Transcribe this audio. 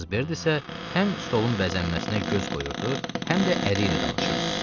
Missis Bert isə həm stolun bəzənməsinə göz qoyurdu, həm də əri ilə danışırdı.